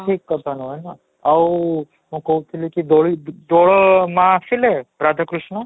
ଠିକ କଥା ନୁହେଁ ନା ଆଉ ମୁଁ କହୁଥିଲି କି ଦୋଳି ଦୋଳ ମାଆ ଆସିଲେ ରାଧାକୃଷ୍ଣ